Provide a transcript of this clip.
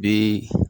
Bi